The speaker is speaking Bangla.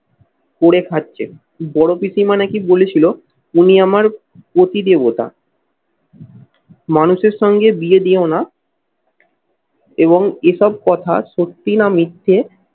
করে খাচ্ছেন। বড় পিসি মানে কি বলেছিল উনি আমার পতি দেবতা মানুষের সঙ্গে বিয়ে দিও না এবং এসব কথা সত্যি না মিথ্যে